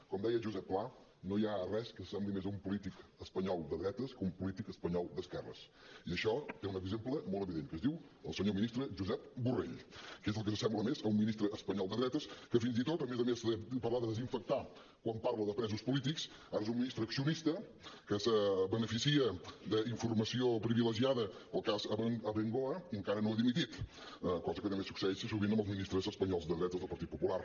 com deia josep pla no hi ha res que s’assembli més a un polític espanyol de dretes que un polític espanyol d’esquerres i això té un exemple molt evident que es diu el senyor ministre josep borrell que és el que s’assembla més a un ministre espanyol de dretes que fins i tot a més a més de parlar de desinfectar quan parla dels presos polítics ara és un ministre accionista que es beneficia d’informació privilegiada pel cas abengoa i encara no ha dimitit cosa que també succeeix sovint amb els ministres espanyols de dretes del partit popular